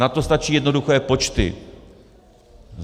Na to stačí jednoduché počty.